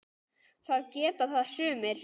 Það geta það sumir.